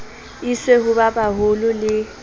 iswe ho ba baholo le